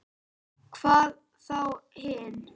Hvað þá hinn.